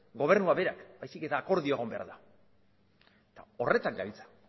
gobernua bera baizik eta akordioa egon behar da horretan gabiltza